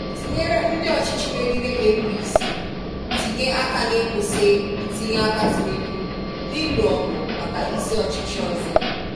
tinyere ndị ọchịchị megide APC — tinye aka n’ịkwụsị ntinye aka Tinubu n’ịlụ ọgụ maka isi ọchịchị ọzọ.